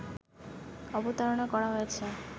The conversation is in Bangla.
অবতারণা করা হয়েছে